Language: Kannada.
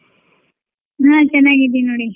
ನಾನ್ ಚೆನ್ನಾಗಿ ಇದ್ದೀನ್ ನೋಡಿ.